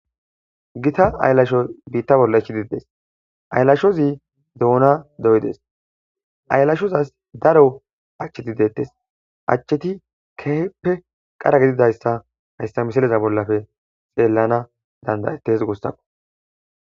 gita aylasho biitta bolla ichidides aylashozi duuna doydes aylashozas daro achcheti deettes achcheti keeheppe qara gididayssa hayssa misaleza bollafe xeellana dandayettes goossako